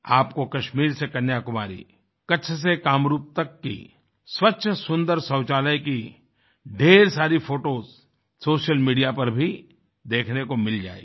आपको कश्मीर से कन्याकुमारी कच्छ से कामरूप तक की स्वच्छ सुन्दर शौचालय की ढ़ेर सारी फोटोस सोशल मीडिया पर भी देखने को मिल जायेंगी